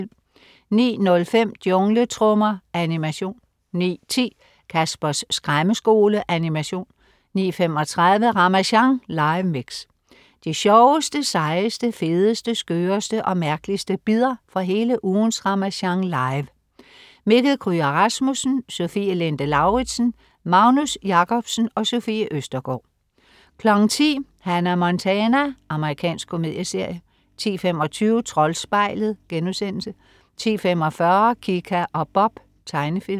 09.05 Jungletrommer. Animation 09.10 Caspers Skræmmeskole. Animation 09:35 Ramasjang live mix. De sjoveste, sejeste, fedeste, skøreste og mærkeligste bidder fra hele ugens Ramasjang Live. Mikkel Kryger Rasmussen, Sofie Linde Lauridsen, Magnus Jacobsen, Sofie Østergaard 10.00 Hannah Montana. Amerikansk komedieserie 10.25 Troldspejlet* 10.45 Kika og Bob. Tegnefilm